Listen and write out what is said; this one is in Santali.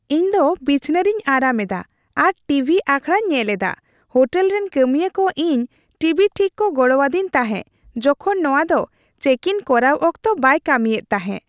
ᱤᱧᱫᱚ ᱵᱤᱪᱷᱱᱟᱹ ᱨᱤᱧ ᱟᱨᱟᱢ ᱮᱫᱟ ᱟᱨ ᱴᱤᱵᱷᱤ ᱟᱠᱷᱲᱟᱧ ᱧᱮᱞ ᱮᱫᱟ ᱾ᱦᱳᱴᱮᱞ ᱨᱮᱱ ᱠᱟᱹᱢᱤᱭᱟᱹ ᱠᱚ ᱤᱧ ᱴᱤᱵᱷᱤ ᱴᱷᱤᱠ ᱠᱚ ᱜᱚᱲᱚᱣᱟᱫᱤᱧ ᱛᱟᱦᱮᱸ ᱡᱚᱠᱷᱚᱱ ᱱᱚᱶᱟ ᱫᱚ ᱪᱮᱠ ᱤᱱ ᱠᱚᱨᱟᱣ ᱚᱠᱛᱚ ᱵᱟᱭ ᱠᱟᱹᱢᱤᱭᱮᱫ ᱛᱟᱦᱮᱸ ᱾